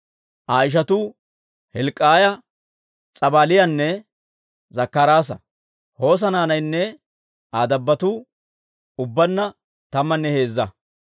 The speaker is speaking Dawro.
Aa ishatuu Hilk'k'iyaa, S'abaaliyaanne Zakkaraasa. Hoosa naanaynne Aa dabbotuu ubbaanna tammanne heezza.